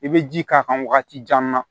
I bɛ ji k'a kan wagati jan na